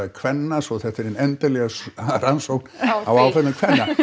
kvenna svo þetta er hin endanlega rannsókn á áföllum kvenna